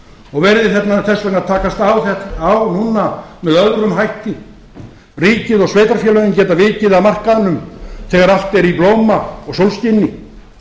og verði þess vegna að taka á núna með öðrum hætti ríkið og sveitarfélögin geta vikið af markaðnum þegar allt er í blóma og sólskini